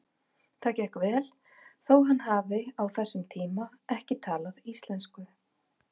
Það gekk vel þó hann hafi á þessum tíma ekki talað íslensku.